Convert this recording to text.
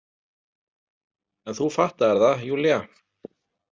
En þú fattaðir það, Júlía.